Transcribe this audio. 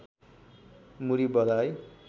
मुरी बधाई